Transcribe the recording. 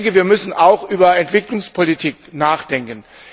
Wir müssen auch über Entwicklungspolitik nachdenken.